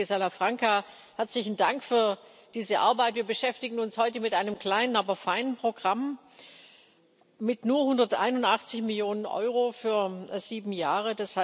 Lieber Kollege Salafranca, herzlichen Dank für diese Arbeit. Wir beschäftigen uns heute mit einem kleinen, aber feinen Programm mit nur 181 Millionen Euro für sieben Jahre.